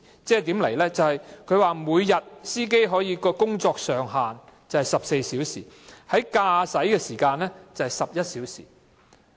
這份指引訂明，車長每天的工作上限是14小時，駕駛的時間是11小時。